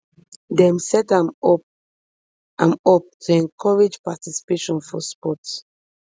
dem set am up am up to encourage participation for sport